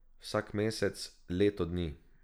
Vsak mesec, leto dni!